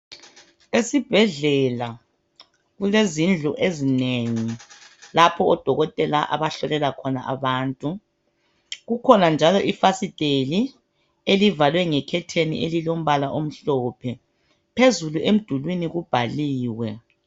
Esibhedlela kulezindlu ezinengi lapho odokotela abahlolela khona abantu. Kukhona njalo ifasiteli elivalwe ngekhetheni elilombala omhlophe phezulu emdulwini kubhaliwe.